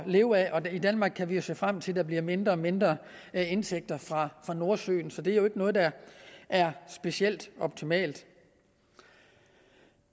leve af og danmark kan se frem til at der bliver mindre og mindre indtægter fra nordsøen så det er jo ikke noget der er specielt optimalt